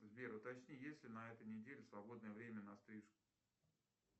сбер уточни есть ли на этой неделе свободное время на стрижку